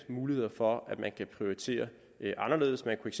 muligheder for at man kan prioritere anderledes man kunne